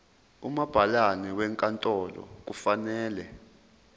umabhalane wenkantolo kufanele